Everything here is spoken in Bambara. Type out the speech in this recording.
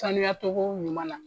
Sanuya togo ɲuman na.